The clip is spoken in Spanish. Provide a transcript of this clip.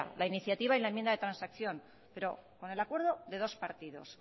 la iniciativa y la enmienda de transacción pero con el acuerdo de dos partidos